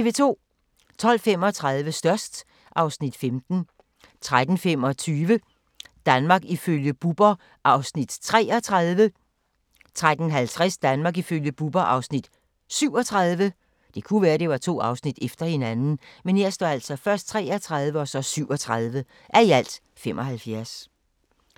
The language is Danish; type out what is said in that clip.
12:35: Størst (Afs. 15) 13:25: Danmark ifølge Bubber (33:75) 13:50: Danmark ifølge Bubber (37:75)